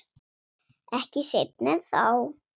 Ekki seinna en þá.